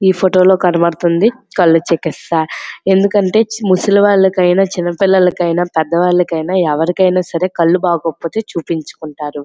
ఈ ఫొటో లో కనబడుతుంది కళ్ళు చికిత్సా ఎందుకంటే ముసలి వాళ్లకు ఐనా చిన్న పిల్లలకైనా ఐనా పెద్ద వాళ్ళకైనా ఎవరికైనా సరే కళ్ళు బాగోకపోతే చూపించు కుంటారు.